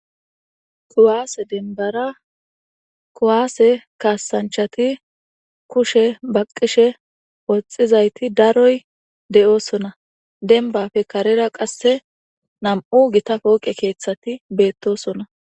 kuwaase denbara kuwaase kaasanchati kushe baqishe woxxizayti daroy de7oosona denbafe karera qasse nam7u gitapooqe keeththati beettosona